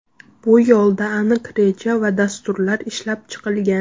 Bu yo‘lda aniq reja va dasturlar ishlab chiqilgan.